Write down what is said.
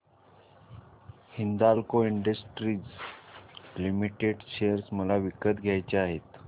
Hindalco industries limited share मला विकत घ्यायचे आहेत